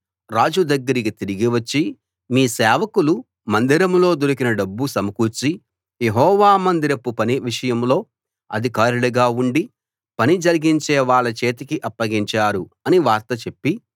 రాజు దగ్గరికి తిరిగి వచ్చి మీ సేవకులు మందిరంలో దొరికిన డబ్బు సమకూర్చి యెహోవా మందిరపు పని విషయంలో అధికారులుగా ఉండి పని జరిగించేవాళ్ళ చేతికి అప్పగించారు అని వార్త చెప్పి